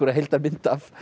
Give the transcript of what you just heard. heildarmynd